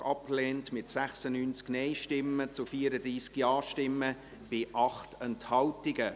Sie haben diesen Antrag abgelehnt, mit 96 Nein-Stimmen zu 34 Ja-Stimmen bei 8 Enthaltungen.